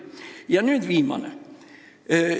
Ja nüüd viimane asi.